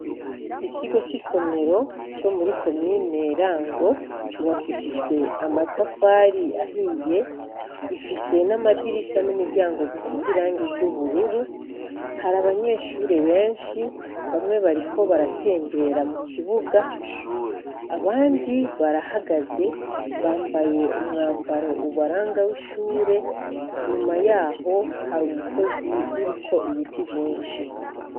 Ikigo c'isomero co muri komine Rango cubakishijwe amatafari ahiye, gifise amadirisha n'imiryango bisize irangi ry'ubururu. Hari abanyeshuri benshi, bamwe bariko baratembera mu kibuga, abandi barahagaze, bambaye umwambaro ubaranga w'ishure. Inyuma yaho hari umusozi uriko ibiti vyinshi.